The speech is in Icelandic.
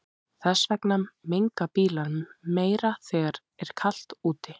Þess vegna menga bílar meira þegar er kalt úti.